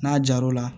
N'a jar'o la